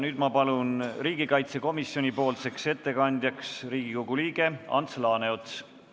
Nüüd palun ma riigikaitsekomisjoni ettekandjaks Riigikogu liikme Ants Laaneotsa.